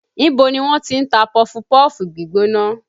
Ibo ni wọ́n ti ń ta pọfupọ́ọ̀fù gbígbóná?